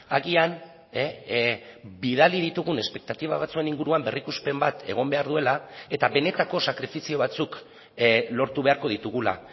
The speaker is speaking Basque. agian bidali ditugun espektatiba batzuen inguruan berrikuspen bat egon behar duela eta benetako sakrifizio batzuk lortu beharko ditugula